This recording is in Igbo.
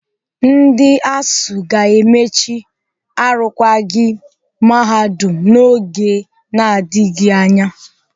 Ndị ASUU ga-emechi arụkwaghịm Mahadum n'oge na-adịghị anya.